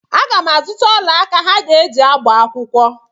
Aga m azụta ọla aka ha ga-eji agba akwụkwọ.